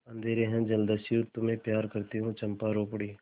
अंधेर है जलदस्यु तुम्हें प्यार करती हूँ चंपा रो पड़ी